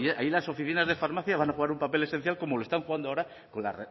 ahí las oficinas de farmacia van a jugar un papel esencial como lo están jugando ahora con la